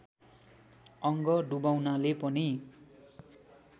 अङ्ग डुबाउनाले पनि